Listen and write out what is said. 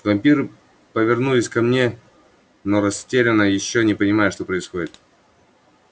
вампиры повернулись ко мне но растерянно ещё не понимая что происходит